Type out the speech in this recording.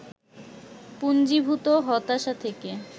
পুঞ্জীভূত হতাশা থেকে